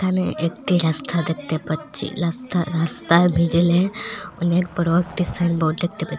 একটি রাস্তা দেখতে পাচ্ছি রাস্তা-রাস্তার মিডিলে অনেক বড়ো একটি সাইনবোর্ড দেখতে--